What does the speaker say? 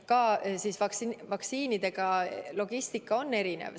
Ka vaktsiinide logistika on erinev.